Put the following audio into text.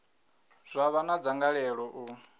zwa vha na dzangalelo u